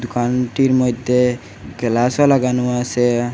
দোকানটির মইদ্যে গেলাসও লাগানো আসে।